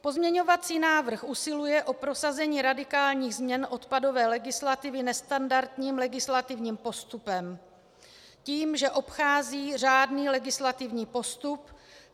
Pozměňovací návrh usiluje o prosazení radikálních změn odpadové legislativy nestandardním legislativním postupem tím, že obchází řádný legislativní postup.